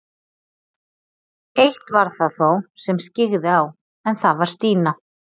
Eitt var það þó sem skyggði á, en það var Stína.